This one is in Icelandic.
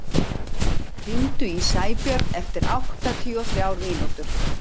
Jónsteinn, hringdu í Sæbjörn eftir áttatíu og þrjár mínútur.